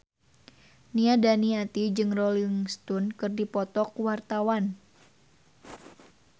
Nia Daniati jeung Rolling Stone keur dipoto ku wartawan